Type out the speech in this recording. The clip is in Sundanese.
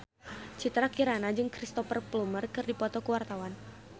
Citra Kirana jeung Cristhoper Plumer keur dipoto ku wartawan